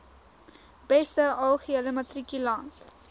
beste algehele matrikulant